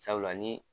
Sabula ni